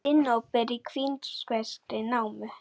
Sinnóber úr kínverskri námu.